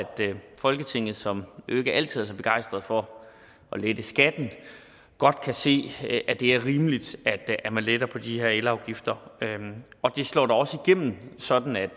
folketinget som jo ikke altid er så begejstret for at lette skatten godt kan se at det er rimeligt at at man letter på de her elafgifter det slår da også igennem sådan at